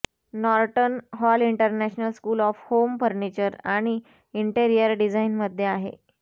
Norton Hall International School of Home Furniture आणि Interior डिज़ाइनमध्ये आहे